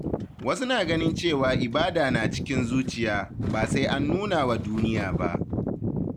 Wasu na ganin cewa ibada na cikin zuciya, ba sai an nuna wa duniya ba.